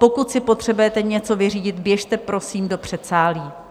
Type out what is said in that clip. Pokud si potřebujete něco vyřídit, běžte prosím do předsálí.